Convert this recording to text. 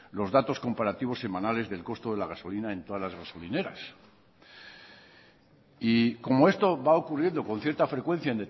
los datos comparativos semanales del costo de la gasolina en todas las gasolineras y como esto va ocurriendo con cierta frecuencia